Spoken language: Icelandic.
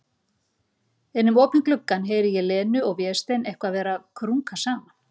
Inn um opinn gluggann heyri ég Lenu og Véstein eitthvað vera að krunka saman.